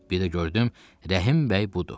Bir də gördüm, Rəhim bəy budur.